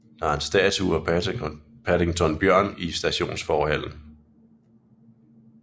Der er en statue af Paddington Bjørn i stationsforhallen